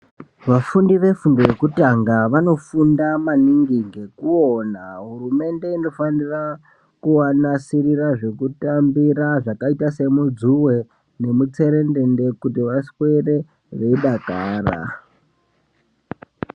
Vafundi vefundo yekutanga vanofunda maningi ngekuwona. Hurumende inofanira kuwanasirira zvekutambira zvakaita semudzuwe nemutserendende kuti vaswere veyidakara.